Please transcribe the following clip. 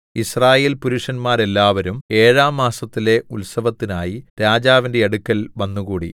യിസ്രായേൽപുരുഷന്മാരെല്ലാവരും ഏഴാം മാസത്തിലെ ഉത്സവത്തിനായി രാജാവിന്റെ അടുക്കൽ വന്നുകൂടി